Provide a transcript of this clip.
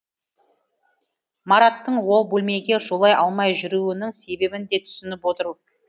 мараттың ол бөлмеге жолай алмай жүруінің себебін де түсініп отыр